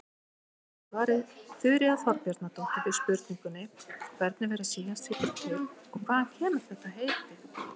Í svari Þuríðar Þorbjarnardóttur við spurningunni Hvernig verða síamstvíburar til og hvaðan kemur þetta heiti?